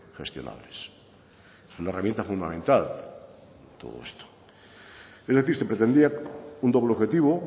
gestionables es una herramienta fundamental todo esto es decir se pretendía un doble objetivo